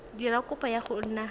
dira kopo ya go nna